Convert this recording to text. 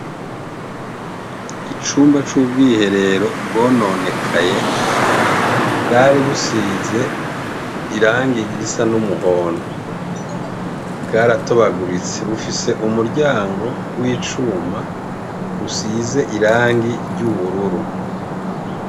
Icumba c'ubwiherero bwononekaye. Bwari busize irangi risa n'umuhondo. Bwaratobaguritse, bufise umuryango w'icuma, usize irangi ry'ubururu.